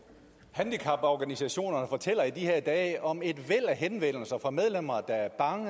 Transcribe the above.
handicaporganisationerne fortæller i de her dage om et væld af henvendelser fra medlemmer der er bange